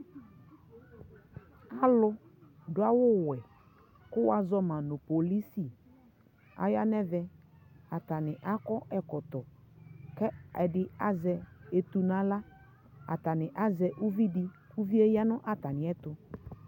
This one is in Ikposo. alʋ dʋ awʋ wɛ kʋ wazɔma polisi ayanʋ ɛvɛ, atani akɔ ɛkɔtɔ kɛ ɛdi azɛ ɛtʋ nʋ ala ,atani azɛ ʋvi di kʋ ʋviɛ yanʋ atami ɛtʋ